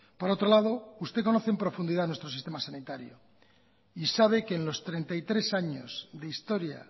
por otro lado usted conoce en profundidad nuestro sistema sanitario y sabe que en los treinta y tres años de historia